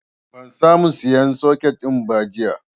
Ban sa mu sayan soket ɗin jiya ba